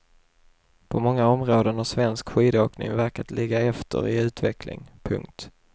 På många områden har svensk skidåkning verkat ligga efter i utveckling. punkt